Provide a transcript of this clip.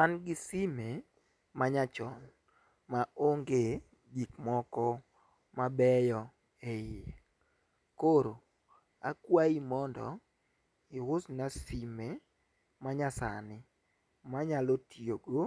An gi sime ma nya chon maonge gik moko mabeyo e iye. Koro akwayi mondo iusna sime manyasani manya tiyo go